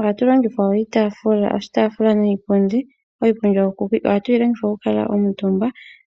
Ohatu longitha iitafula niipundi. Iipundi oyo hatu longitha oku kuutumba